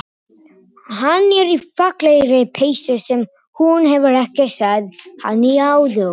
Hann er í fallegri peysu sem hún hefur ekki séð hann í áður.